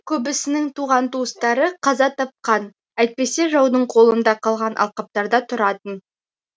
көбісінің туған туыстары қаза тапқан әйтпесе жаудың қолында қалған алқаптарда тұратын